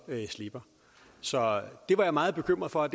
slipper så det var jeg meget bekymret for